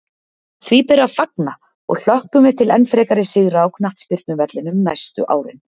Því ber að fagna og hlökkum við til enn frekari sigra á knattspyrnuvellinum næstu árin!